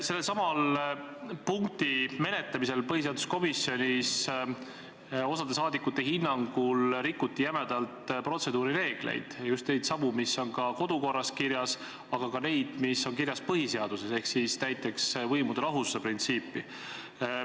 Sellesama punkti põhiseaduskomisjonis menetlemisel rikuti osade saadikute hinnangul jämedalt protseduurireegleid – neid, mis on kirjas kodu- ja töökorras, aga ka neid, mis on kirjas põhiseaduses, näiteks võimude lahususe printsiipi.